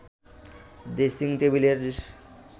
dressing টেবিলের